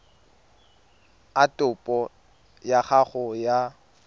a topo ya gago ya